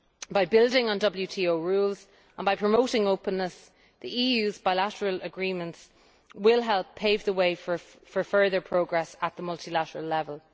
By building on WTO rules and by promoting openness, the EU's bilateral agreements will help pave the way for further progress at the multilateral level.